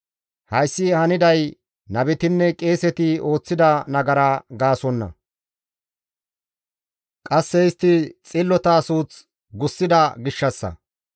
Hayssi haniday nabetinne qeeseti ooththida nagara gaasonna; qasse istti xillota suuth gussida gishshassa.